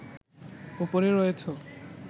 ওপরে রয়েছ